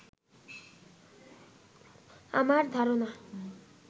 আমার ধারণা